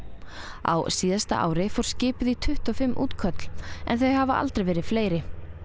á síðasta ári fór skipið í tuttugu og fimm útköll en þau hafa aldrei verið fleiri